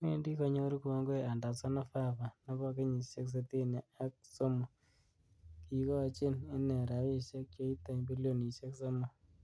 Wendi konyoru kongoi Anderson Ofafa nebo kenyishek sitini ak somok(63) ,kikochin inee rabishek cheitei bilionishek somok.